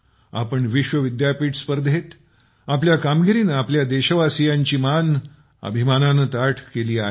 आपण विश्वविद्यापीठ स्पर्धेत आपल्या कामगिरीनं प्रत्येक देशवासियांचीं मान अभिनामानाननं ताठ केली आहे